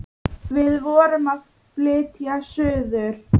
Við vorum að flytja suður.